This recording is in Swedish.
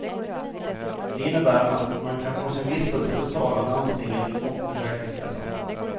Det innebär att man kan få sin vistelse betald av landstinget och försäkringskassan.